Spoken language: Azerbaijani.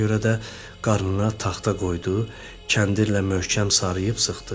Ona görə də qarnına taxta qoydu, kəndirlə möhkəm sarıyıb sıxdı.